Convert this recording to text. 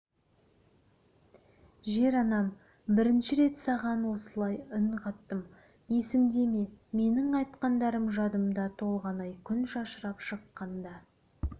жер-анам бірінші рет саған осылай үн қаттым есіңде ме менің айтқандарым жадымда толғанай күн шашырап шыққанда